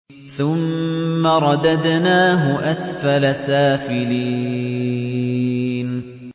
ثُمَّ رَدَدْنَاهُ أَسْفَلَ سَافِلِينَ